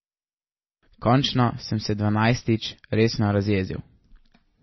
Končno sem se dvanajstič resno razjezil.